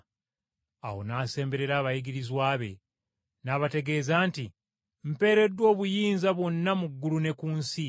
Awo Yesu n’asemberera abayigirizwa be n’abategeeza nti, “Mpeereddwa obuyinza bwonna mu ggulu ne ku nsi.